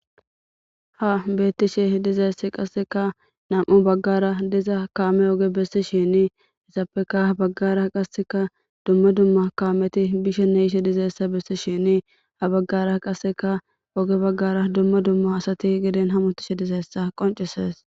ha beettishe de'izayssi qasseka nam7u baggara diza kaame oge bessi shini esappeka habaggara qasseka dumma dumma kaameti bishene yishe dizayssa bessi shini ha baggara qasseka oge baggara dumma dumma asati giden hamutishe dizayessa qoncises